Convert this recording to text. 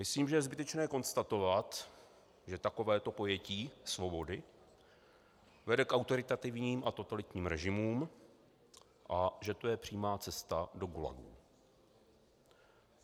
Myslím, že je zbytečné konstatovat, že takovéto pojetí svobody vede k autoritativním a totalitním režimům a že to je přímá cesta do gulagu.